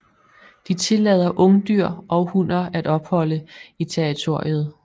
De tillader ungdyr og hunner at opholde i territoriet